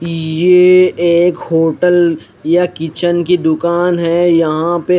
ये एक होटल या किचन की दुकान है यहा पे--